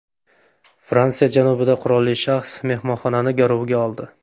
Fransiya janubida qurolli shaxs mehmonxonani garovga oldi.